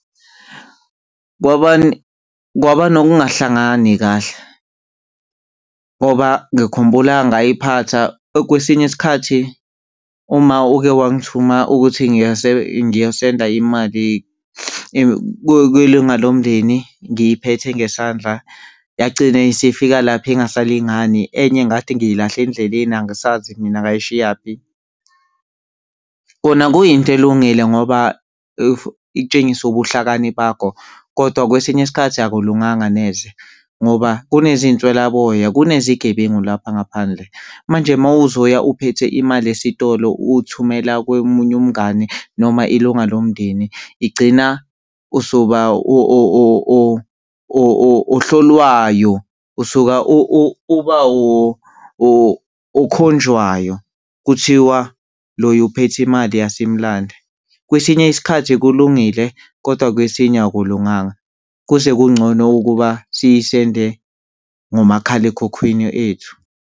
Kwaba nokungahlangani kahle ngoba ngikhumbula ngayiphatha or kwesinye isikhathi uMa uke wangithuma ukuthi ngiyosenda imali kwilunga lomndeni, ngiyiphethe ngesandla yagcina isifika lapho ingasalingani, enye ngathi ngiyilahle endleleni angisazi mina ngayishiyaphi. Kona kuyinto elungile ngoba itshengisa ubuhlakani bakho kodwa kwesinye isikhathi akulunganga neze ngoba kunezinswlaboya, kunezigebengu lapha ngaphandle. Manje uma uzoya uphethe imali esitolo uthumela komunye umngani noma ilunga lomndeni igcina usuba ohlolwayo, usuka uba okhonjwayo, kuthiwa loya uphethe imali asimlanda. Kwesinye isikhathi kulungile, kodwa kwesinye akulunganga kuze kungcono ukuba siyisende ngomakhalekhukhwini ethu.